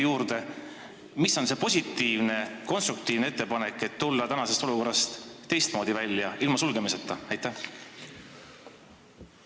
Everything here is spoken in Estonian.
Mis võiks olla positiivne, konstruktiivne ettepanek, et olukorrast teistmoodi, ilma osakondi sulgemata välja tulla?